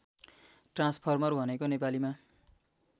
transformer भनेको नेपालीमा